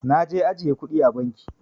Naje ajjiye kudi a banki.